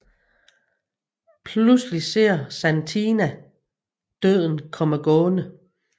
Pludselig ser Satina Døden komme gående